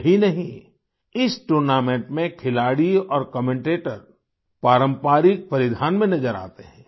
यही नहीं इस टूर्नामेंट में खिलाड़ी और कमेंटेटर पारंपरिक परिधान में नजर आते हैं